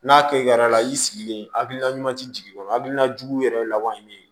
N'a kɛra i sigilen ha hakilina ɲuman tɛ jigi kɔrɔ a hakilinajugu yɛrɛ laban ye min ye